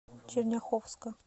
черняховска